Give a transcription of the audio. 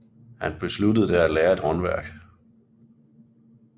Han besluttede da at lære et håndværk